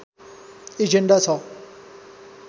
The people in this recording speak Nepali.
एजेन्डा छ